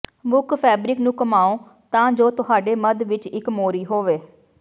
ਮੁੱਖ ਫੈਬਰਿਕ ਨੂੰ ਘੁਮਾਓ ਤਾਂ ਜੋ ਤੁਹਾਡੇ ਮੱਧ ਵਿੱਚ ਇੱਕ ਮੋਰੀ ਹੋਵੇ